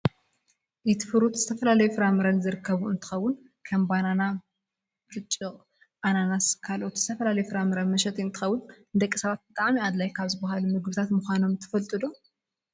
ኤትፍሩት ዝተፈላለዩ ፍራምረ ዝርከበሉ እንትከውን ከም ባናናን ብርጭቅ፣ ኣናናስን ካልኦት ዝተፈላለዩ ፍራምረ መሸጢ እንትከውን ንደቂ ሰባት ብጣዕሚ ኣድላይ ካብ ዝባሃሉ ምግብታት ምኳኖም ትፈልጡ ዶ?